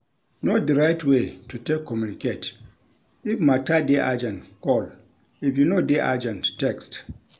Know di right way to take communicate; if matter dey urgent call, if e no dey urgent text